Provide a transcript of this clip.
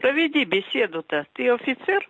проведи беседу ты офицер